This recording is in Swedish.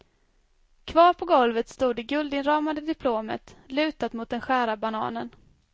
Kvar på golvet stod det guldinramade diplomet, lutat mot den skära bananen.